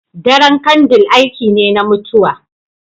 Daren kandle aiki ne na mutuwa.